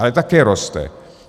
Ale taky roste.